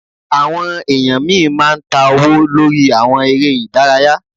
Àwọn èèyàn míì máa ń ta owó lórí àwọn eré ìdárayá